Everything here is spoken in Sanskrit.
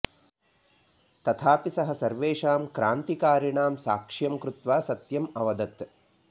तथापि सः सर्वेषां क्रान्तिकारिणां साक्ष्यं कृत्वा सत्यम् अवदत्